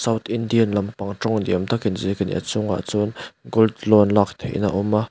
indian lampang tawng ni awm tak inziak a ni a chungah chuan gold loan lak theihna a awm a.